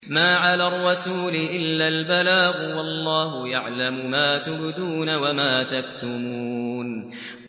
مَّا عَلَى الرَّسُولِ إِلَّا الْبَلَاغُ ۗ وَاللَّهُ يَعْلَمُ مَا تُبْدُونَ وَمَا تَكْتُمُونَ